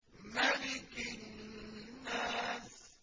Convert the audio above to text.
مَلِكِ النَّاسِ